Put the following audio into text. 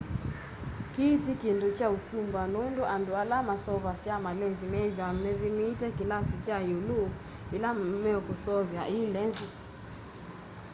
kii ti kindu kya usumbua nundu andu ala maseuvasya malenzi methwaa mathimite kilasi kya iulu ila mekuseuvya i lenzi